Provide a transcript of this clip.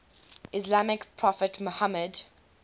islamic prophet muhammad